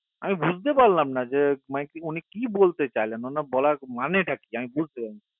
আমি বুজতে পারলাম না যে মানে উনি কি বলতে চায় বলার মানে টা কি বুজতে পারলাম না